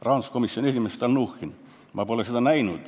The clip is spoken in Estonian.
Rahanduskomisjoni esimees Stalnuhhin vastas: "Ma pole seda näinud.